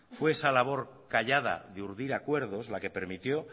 fue esa labor callada de urdir acuerdos la que permitió